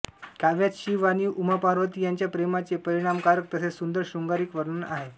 काव्यात शिव आणि उमापार्वती यांच्या प्रेमाचे परिणामकारक तसेच सुदंर शृंगारिक वर्णन आहे